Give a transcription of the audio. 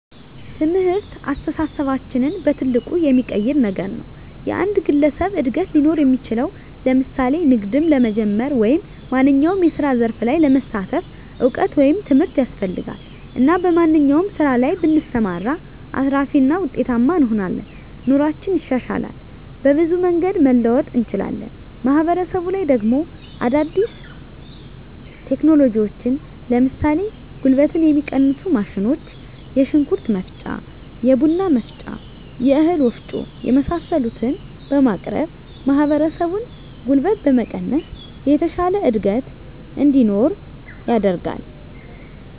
ትምህርት አስተሳሰባችንን በትልቁ የሚቀይር ነገር ነዉ። የአንድ ግለሰብ እድገት ሊኖር እሚችለዉ ለምሳሌ ንግድም ለመጀመር ወይም ማንኛዉም የስራ ዘርፍ ላይ ለመሳተፍ እዉቀት ወይም ትምህርት ያስፈልጋል እና በማንኛዉም ስራ ላይ ብንሰማራ አትራፊ እና ዉጤታማ እንሆናለን። ኑሮአችን ይሻሻላል፣ በብዙ መንገድ መለወጥ እንችላለን። ማህበረሰቡ ላይ ደሞ አዳዲስ ቴክኖሎጂዎችን ለምሳሌ ጉልበትን የሚቀንሱ ማሽኖች የሽንኩርት መፍጫ፣ የቡና መፍጫ፣ የእህል ወፍጮ የመሳሰሉትን በማቅረብ ማህበረሰቡን ጉልበት በመቀነስ የተሻለ እድገት እንዲኖር ያደርጋል።